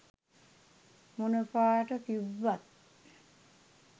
මොන පාට තිබ්බත්